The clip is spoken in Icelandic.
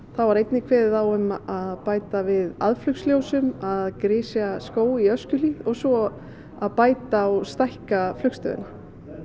þar var einnig kveðið á um að bæta við að grisja skóg í Öskjuhlíð og svo að bæta og stækka flugstöðina